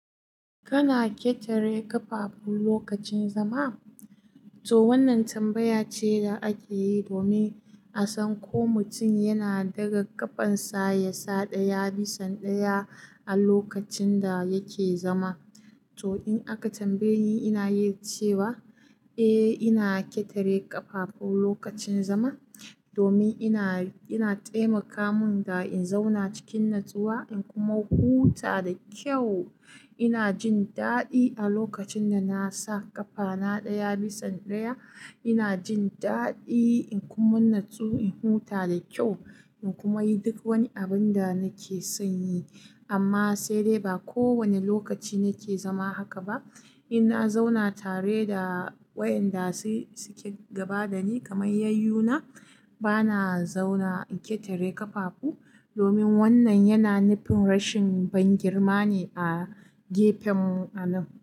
Kana ƙetare ƙafafu lokacin zama? To wannan tambaya ce da ake yi domin a san ko mutum yana ɗaga ƙafansa ya sa ɗaya bisa ɗaya a lokacin da yake zama. To in aka tambaye ni, ina iya cewa eh ina ƙetare ƙafafu lokacin zama domin, yana taimaka mun da in zauna cikin natsuwa in kuma huta da kyau. Ina jin daɗi a lokacin da na sa ƙafana ɗaya bisa ɗaya. Ina jin daɗi in kuma natsu in huta da kyau in kuma yi duk wani abun da nake son yi. Amma sai dai ba kowane lokaci nake zama haka ba. In na zauna tare da wayanda suke gaba da ni kamar yayyuna, bana zauna in ƙetare ƙafafu domin wannan yana nufin rashin bangirma ne a gefen mu anan.